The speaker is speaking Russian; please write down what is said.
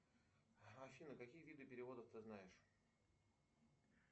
афина какие виды переводов ты знаешь